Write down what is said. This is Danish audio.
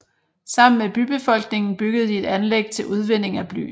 Sammen med bybefolkningen byggede de et anlæg til udvinding af bly